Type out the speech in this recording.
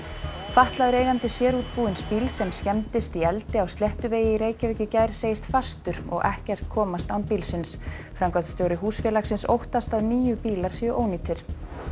fatlaður eigandi sérútbúins bíls sem skemmdist í eldi á Sléttuvegi í Reykjavík í gær segist fastur og ekkert komast án bílsins framkvæmdastjóri húsfélagsins óttast að níu bílar séu ónýtir